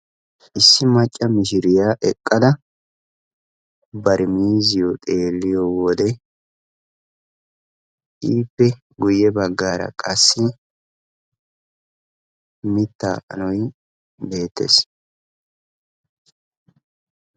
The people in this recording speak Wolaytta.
Issi macca miishiriyaa eqqada bari miiziyo xeeliyode ippe guuye baggara qassi miitta anooy betees.